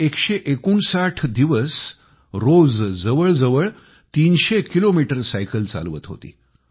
ती 159 दिवस रोज जवळजवळ 300 किलोमीटर सायकल चालवत होती